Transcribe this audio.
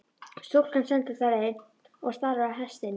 Stúlkan stendur þar enn og starir á hestinn.